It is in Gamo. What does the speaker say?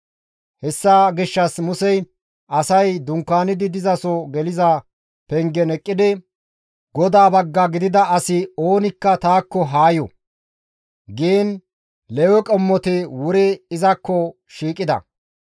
Hessa gishshas Musey asay dunkaanidi dizaso geliza pengen eqqidi, «GODAA bagga gidida asi oonikka taakko ha yo!» giin Lewe qommoti wuri izakko shiiqida.